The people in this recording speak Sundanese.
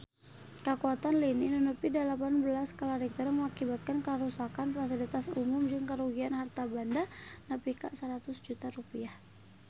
Kakuatan lini nu nepi dalapan belas skala Richter ngakibatkeun karuksakan pasilitas umum jeung karugian harta banda nepi ka 100 juta rupiah